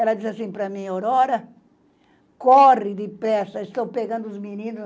Ela dizia assim para mim, Aurora, corre depressa, estão pegando os meninos.